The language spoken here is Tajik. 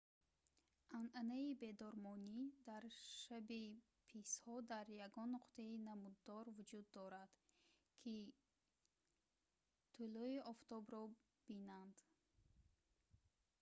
анъанаи бедормонӣ дар шаби писҳо дар ягон нуқтаи намуддор вуҷуд дорад то ки тулӯи офтобро бинанд